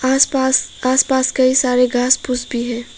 आस पास आस पास कई सारे घास फूस भी है।